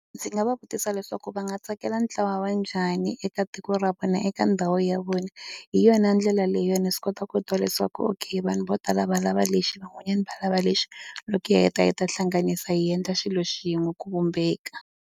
Ndzi nga va vutisa leswaku va nga tsakela ntlawa wa njhani eka tiko ra vona eka ndhawu ya vona hi yona ndlela leyi yona swi kota ku twa leswaku okay vanhu vo tala va lava lexi van'wanyani va lava lexi loko hi heta hi ta hi ta hlanganisa hi endla xilo xin'we ku vumbeka.